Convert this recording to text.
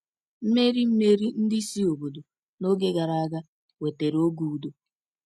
Mmeri Mmeri ndị isi obodo n’oge gara aga wetara oge udo.